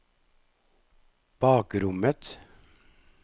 bakrommet